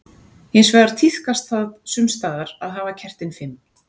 Hins vegar tíðkast það sums staðar að hafa kertin fimm.